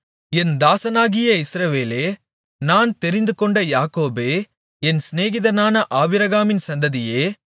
என் தாசனாகிய இஸ்ரவேலே நான் தெரிந்துகொண்ட யாக்கோபே என் சிநேகிதனான ஆபிரகாமின் சந்ததியே